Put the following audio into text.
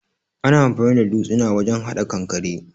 Ana anfani da dutsina wajen hada kankare.